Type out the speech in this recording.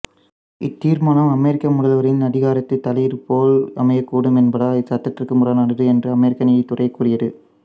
இத்தீர்மானம் அமெரிக்க முதல்வரின் அதிகாரத்தில் தலையீடுபோல் அமையக்கூடும் என்பதால் சட்டத்திற்கு முரணானது என்று அமெரிக்க நீதித்துறை கூறியது